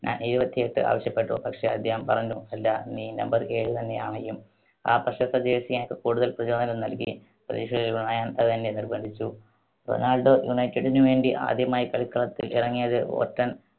ഞാൻ ഇരുപത്തിയെട്ട് ആവശ്യപ്പെട്ടു. പക്ഷേ, അദ്ദേഹം പറഞ്ഞു, അല്ല, നീ number ഏഴ് തന്നെ അണിയും. ആ പ്രശസ്ത jersey എനിക്ക് കൂടുതൽ പ്രചോദനം നൽകി. പ്രതീക്ഷകൾ അതെന്നെ നിർബ്ബന്ധിച്ചു. റൊണാൾഡോ united ന് വേണ്ടി ആദ്യമായി കളിക്കളത്തിൽ ഇറങ്ങിയത് ബോൾട്ടൺ